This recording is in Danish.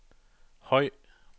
høj